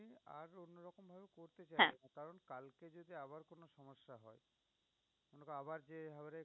আবার যে